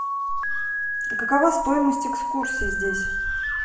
а какова стоимость экскурсии здесь